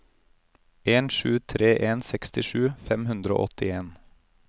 en sju tre en sekstisju fem hundre og åttien